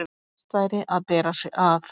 best væri að bera sig að.